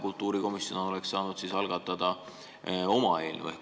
Kultuurikomisjon oleks siis saanud algatada oma eelnõu.